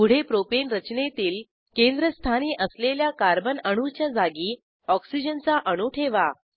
पुढे प्रोपेन रचनेतील केंद्रस्थानी असलेल्या कार्बन अणूच्या जागी ऑक्सिजनचा अणू ठेवा